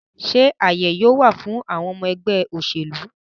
Sé àyè yóò wà fún àwọn ọmọ ẹgbẹ́ òṣèlú?